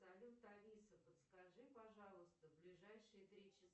салют алиса подскажи пожалуйста ближайшие три часа